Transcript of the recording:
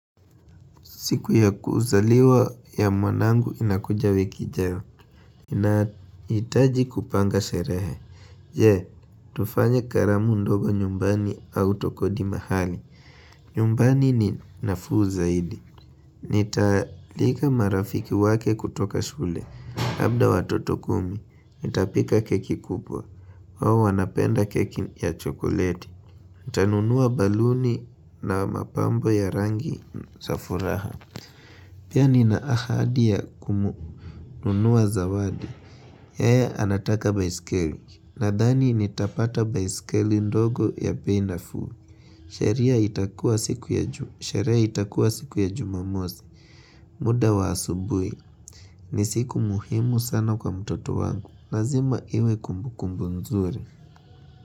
Siku ya kuzaliwa ya mwanangu inakuja wiki ijayo. Nahitaji kupanga sherehe. Je, tufanye karamu ndogo nyumbani au tukodi mahali. Nyumbani ni nafuu zaidi. Nitaalika marafiki wake kutoka shule. Labda watoto kumi, nitapika keki kubwa. Wao wanapenda keki ya chokoleti. Ntanunua baluni na mapambo ya rangi za furaha. Pia nina ahadi ya kumununua zawadi, yeye anataka baiskeli, nadhani nitapata baiskeli ndogo ya bei nafuu. Sheria itaku sherehe itakua siku ya jumamosi, muda wa asubuhi, ni siku muhimu sana kwa mtoto wangu, nazima iwe kumbukumbu nzuri.